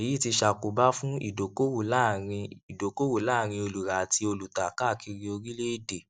èyí ti ṣàkóbá fún ìdókòwò láàrin ìdókòwò láàrin olùrà àti olùtà káàkiri orílèèdè